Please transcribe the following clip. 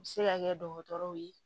U bɛ se ka kɛ dɔgɔtɔrɔw ye